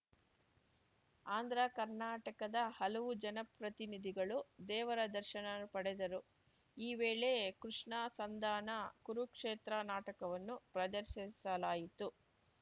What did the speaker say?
ಆಂಧ್ರಕರ್ನಾಟಕದ ಹಲವು ಜನಪ್ರತಿನಿದಿಗಳು ದೇವರ ದರ್ಶನ ಪಡೆದರು ಈ ವೇಳೆ ಕೃಷ್ಣ ಸಂಧಾನಕುರುಕ್ಷೇತ್ರ ನಾಟಕವನ್ನು ಪ್ರದರ್ಶಿಸಲಾಯಿತು